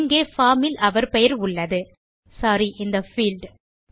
இங்கே பார்ம் இல் அவர் பெயர் உள்ளது சோரி இந்த பீல்ட்